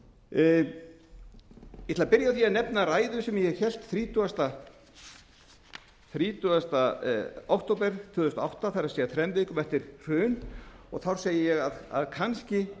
að byrja á því að nefna ræðu sem ég hélt þrítugasta október tvö þúsund og átta það er þrem vikum eftir hrun og þá segi ég með